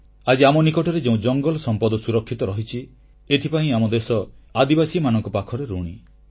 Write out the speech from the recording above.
ଆଜି ଆମ ନିକଟରେ ଯେଉଁ ଜଙ୍ଗଲ ସମ୍ପଦ ସୁରକ୍ଷିତ ରହିଛି ଏଥିପାଇଁ ଆମ ଦେଶ ଆଦିବାସୀମାନଙ୍କ ପାଖରେ ଋଣୀ